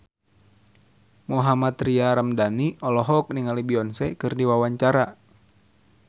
Mohammad Tria Ramadhani olohok ningali Beyonce keur diwawancara